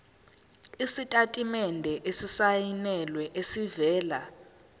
isitatimende esisayinelwe esivela